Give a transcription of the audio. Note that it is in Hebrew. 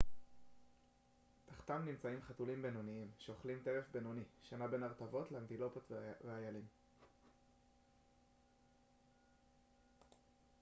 תחתם נמצאים חתולים בינוניים שאוכלים טרף בינוני שנע בין ארנבות לאנטילופות ואיילים